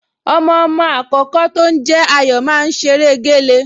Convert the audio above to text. Ọmọọmọ àkọ́kọ́ tó ń jẹ́ Ayọ̀ máa ń ṣeré géle